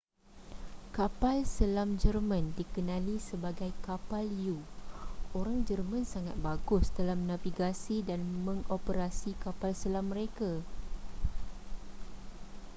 kapal selam jerman dikenali sebagai kapal u orang jerman sangat bagus dalam navigasi dan mengoperasi kapal selam mereka